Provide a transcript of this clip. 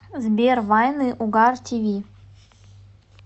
сбер вайны угар ти ви